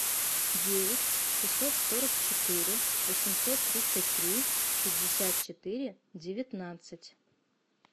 девять шестьсот сорок четыре восемьсот тридцать три пятьдесят четыре девятнадцать